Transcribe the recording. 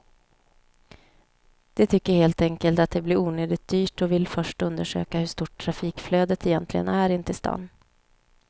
De tycker helt enkelt att det blir onödigt dyrt och vill först undersöka hur stort trafikflödet egentligen är in till stan.